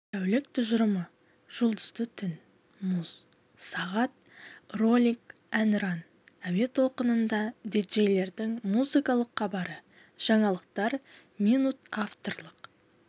тәулік тұжырымы жұлдызды түн муз сағат ролик әнұран әуе толқынында диджейлердің музыкалык хабары жаңалықтар минут авторлық